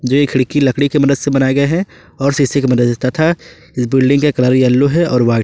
ये खिड़की लकड़ी की मदद से बनाए गए हैं और शीशे की मदद से तथा इस बिल्डिंग का कलर येलो है और वाइट ।